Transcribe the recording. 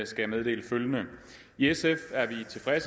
skal jeg meddele følgende i sf